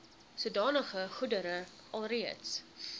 sodanige goedere alreeds